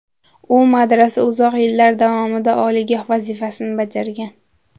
U madrasa uzoq yillar davomida oliygoh vazifasini bajargan.